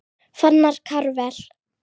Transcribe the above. Fannar Karvel.